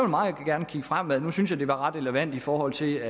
meget gerne kigge fremad nu synes jeg det var meget relevant i forhold til